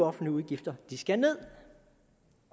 offentlige udgifter skal ned